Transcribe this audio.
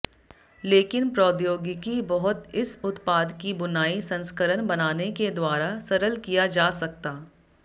लेकिन प्रौद्योगिकी बहुत इस उत्पाद की बुनाई संस्करण बनाने के द्वारा सरल किया जा सकता